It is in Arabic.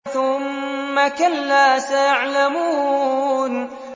ثُمَّ كَلَّا سَيَعْلَمُونَ